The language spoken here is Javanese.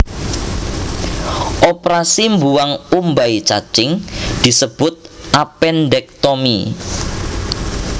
Oprasi mbuwang umbai cacing disebut appendektomi